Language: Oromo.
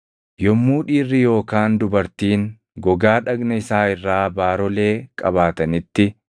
“Yommuu dhiirri yookaan dubartiin gogaa dhagna isaa irraa baarolee qabaatanitti,